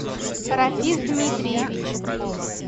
рафиз дмитриевич